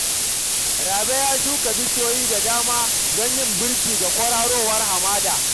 Rabe ya shuka bishiyoyi da dama don yin birki ga kwararowar hamada